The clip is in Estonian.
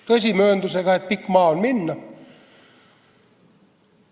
Tõsi, mööndusega, et pikk maa on minna.